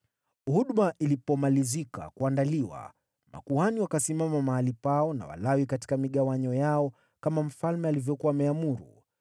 Huduma ilipomalizika kuandaliwa makuhani wakasimama mahali pao na Walawi katika migawanyo yao kama mfalme alivyokuwa ameamuru.